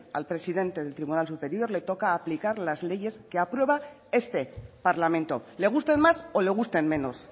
al presidente del tribunal superior le toca aplicar las leyes que aprueba este parlamento le gusten más o le gusten menos